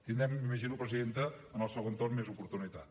tindrem m’imagino presidenta en el segon torn més oportunitat